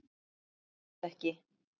En það tókst ekki.